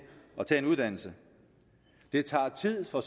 at tage en uddannelse det tager tid for